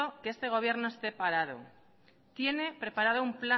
que este gobierno está parado tiene preparado